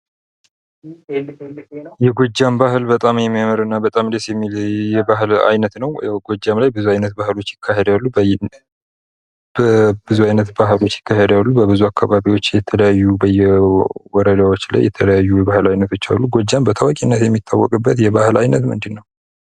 የጎጃም ባህል በጣም የሚያምርና በጣም ደስ የሚል የባህል አይነት ነው ፤ ያው ጎጃም ላይ ብዙ አይነት ባህሎች ይካሄዳሉ በብዙ አካባቢዎች የተለያዩ ባህሎች ፤ በየወረዳዎች ላይ የተለያዩ አይነት ባህሎች አሉ ጎጃም በታዋቂነት የሚታወቅበት የባህል አይነት ምንድነው?